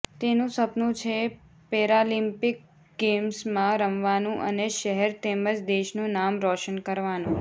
તેનું સપનું છે પેરાલિમ્પિક ગેમ્સમાં રમવાનું અને શહેર તેમજ દેશનું નામ રોશન કરવાનું